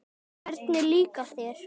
Hvernig líkar þér?